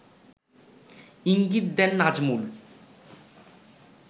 ইঙ্গিত দেন নাজমুল